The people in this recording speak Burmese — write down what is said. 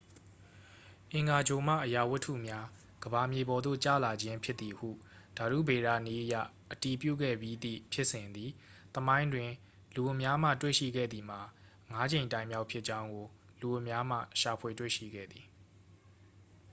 အင်္ဂါဂြိုလ်မှ အရာဝတ္တုများ ကမ္ဘာမြေပေါ်သို့ ကျလာခြင်းဖြစ်သည်ဟု ဓာတုဗေဒနည်းအရ အတည်ပြုခဲ့ပြီးသည့်ဖြစ်စဉ်သည် သမိုင်းတွင် လူအများမှ တွေ့ရှိခဲ့သည်မှာ ငါးကြိမ်တိုင်မြောက်ဖြစ်ကြောင်းကို လူအများမှ ရှာဖွေတွေ့ရှိခဲ့သည်